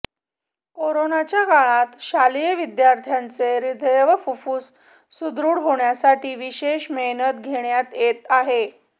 कोरोनाच्या काळात शालेय विद्यार्थ्यांचे हदय व फुफ्फुस सुदृढ होण्यासाठी विशेष मेहनत घेण्यात येत आहे